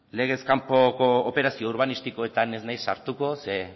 legez kanpoko operazio urbanistikoetan ez naiz sartuko ze